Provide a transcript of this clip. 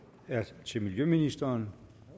er til miljøministeren